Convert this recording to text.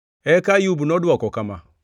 Eka Ayub nodwoko kama: